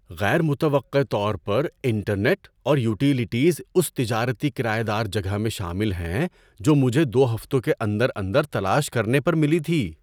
غیر متوقع طور پر، انٹرنیٹ اور یوٹیلیٹیز اس تجارتی کرایہ دار جگہ میں شامل ہیں جو مجھے دو ہفتوں کے اندر اندر تلاش کرنے پر ملی تھی۔